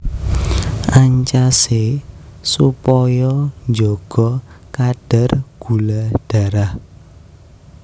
Ancasé supaya njaga kadar gula darah